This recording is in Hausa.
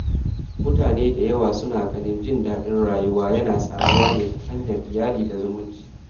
Mutane da yawa suna ganin jin daɗin rayuwa yana samuwa ne ta hanyar iyali da zumunci.